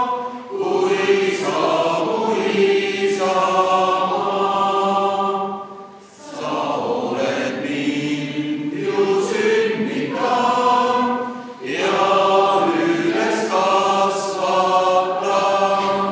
Alustame Riigikogu täiskogu VII istungjärgu 6. töönädala neljapäevast istungit.